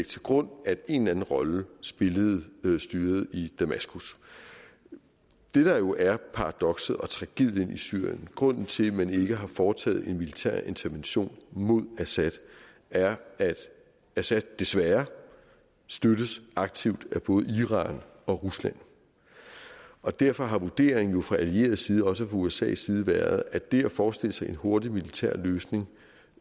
til grund at en eller anden rolle spillede styret i damaskus det der jo er paradokset og tragedien i syrien og grunden til at man ikke har foretaget en militær intervention mod assad er at assad desværre støttes aktivt af både iran og rusland og derfor har vurderingen jo fra allieret side også fra usas side været at det at forestille sig en hurtig militær løsning